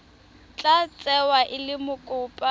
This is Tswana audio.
tla tsewa e le mokopa